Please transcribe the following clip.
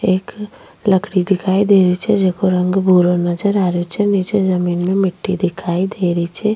एक लकड़ी दिखाई दे री छे जेको रंग भूरो नजर आ रेहो छे नीचे जमीन में मिट्टी दिखाई दे री छे।